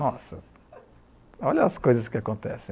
Nossa, olha as coisas que acontecem.